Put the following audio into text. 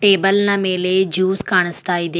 Table ನ ಮೇಲೆ juice ಕಾಣುಸ್ತಾ ಇದೆ.